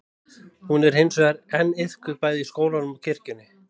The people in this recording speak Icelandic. Hún er hins vegar enn iðkuð bæði í skólanum og kirkjunni.